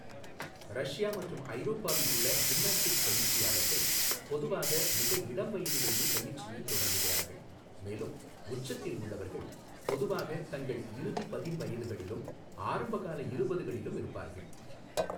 Russia மற்றும் ஐரோப்பாவில் உள்ள ஜிம்னாஸ்டிக்ஸ் பயிற்சியாளர்கள் பொதுவாக மிக இளம் வயதிலேயே பயிற்சியைத் தொடங்குகிறார்கள், மேலும் உச்சத்தில் உள்ளவர்கள் பொதுவாக தங்கள் இறுதி பதின் வயதுகளிலும் ஆரம்ப கால இருபதுகளிலும் இருப்பார்கள்.